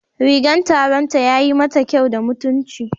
Rigan taronta yayi mata kyau da mutunci